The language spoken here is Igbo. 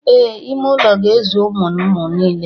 Ee, ime ụlọ ga-ezu ụmụ ụmụ niile